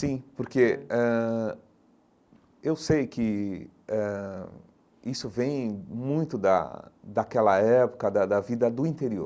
Sim, porque ãh eu sei que ãh isso vem muito da daquela época da da vida do interior.